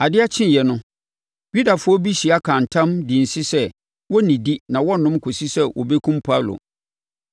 Adeɛ kyeeɛ no, Yudafoɔ bi hyia kaa ntam, dii nse sɛ wɔrennidi na wɔrennom nso kɔsi sɛ wɔbɛkum Paulo.